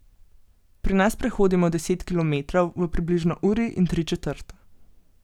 Pri nas prehodimo deset kilometrov v približno uri in tri četrt.